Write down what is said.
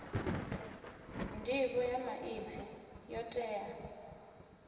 nḓivho ya maipfi yo tea